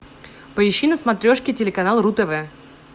поищи на смотрешке телеканал ру тв